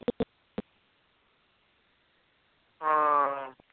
ਹਾਂ